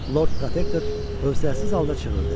Lord Protektor hövsələsiz halda çığırdı.